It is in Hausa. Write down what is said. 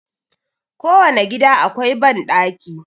Ko wane gida akwai banɗaki.